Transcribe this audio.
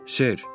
Ser.